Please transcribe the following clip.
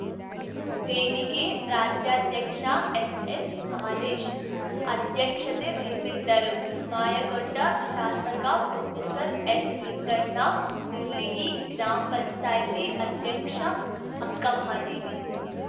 ವೇದಿಕೆ ರಾಜ್ಯಾಧ್ಯಕ್ಷ ಎನ್‌ಎಚ್‌ಹಾಲೇಶ್ ಅಧ್ಯಕ್ಷತೆ ವಹಿಸಿದ್ದರು ಮಾಯಕೊಂಡ ಶಾಸಕ ಪ್ರೊಫೆಸರ್ಎನ್‌ಲಿಂಗಣ್ಣ ನೇರ್ಲಿಗಿ ಗ್ರಾಮ್ ಪಂಚಾಯತಿ ಅಧ್ಯಕ್ಷ ಅಕ್ಕಮಹಾದೇವಿ